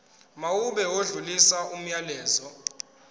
mawube odlulisa umyalezo